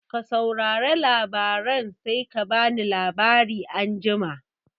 Ka saurare labaran sai ka bani labari anjima